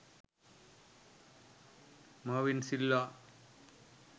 mervin silva